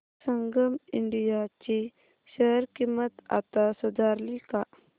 संगम India ची share किंमत आता सुधारली का